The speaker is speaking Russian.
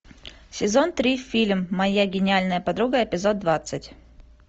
сезон три фильм моя гениальная подруга эпизод двадцать